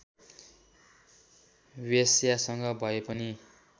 वेश्यासँग भए पनि